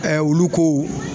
olu kow